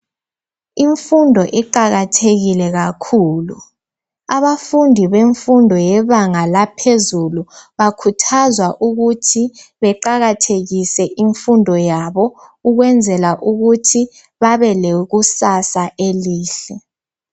Imfundo iqakathekile kakhulu abafundi bemfundo yebanga laphezulu bakhuthazwa ukuthi beqakathekise imfundo yabo ukwenzela ukuthi babe lekusasa elihle.